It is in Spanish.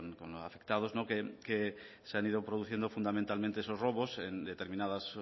con los afectados que se han ido produciendo fundamentalmente esos robos en determinados